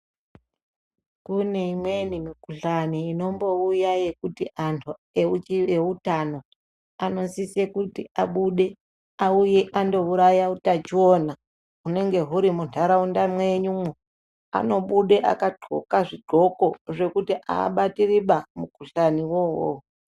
Kune imweni mikuhlani inombouya yekuti anhu eutano anosisire kuti abude auye ambouraya utachiona unenge huri munharaunda mwenyumwo. Anobuda akadxoka zvidxoko zvokuti abatiriba mukuhlaniwo uwowo.